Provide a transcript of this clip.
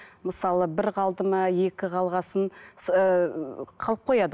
мысалы бір қалды ма екі қалған соң қалып қояды